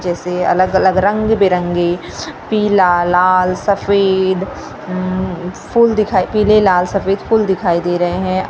जैसे अलग अलग रंग बिरंगे पीला लाल सफेद उम फूल दिखाई पीले लाल सफेद फूल दिखाई दे रहे हैं।